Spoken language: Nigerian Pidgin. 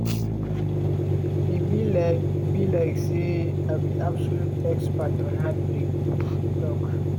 "e be like be like say i be absolute expert on heartbreak" e tok.